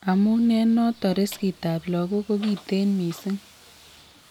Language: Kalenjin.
Amun eng' noton riskit ab logok kokiten mising'